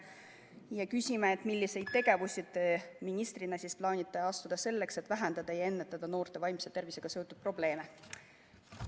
Me küsimegi, milliseid samme ta ministrina plaanib astuda selleks, et vähendada ja ennetada noorte vaimse tervisega seotud probleeme.